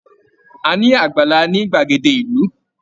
A ni àgbàlá ni gbagede ìlú.